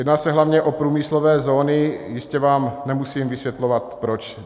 Jedná se hlavně o průmyslové zóny, jistě vám nemusím vysvětlovat proč.